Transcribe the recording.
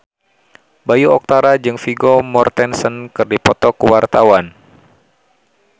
Bayu Octara jeung Vigo Mortensen keur dipoto ku wartawan